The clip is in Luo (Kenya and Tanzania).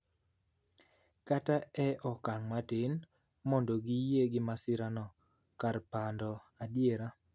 kata e okang' matin mondo giyie gi masirano kar pando adiera.